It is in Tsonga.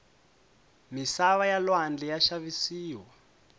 misava ya lwandle ya xavisiwa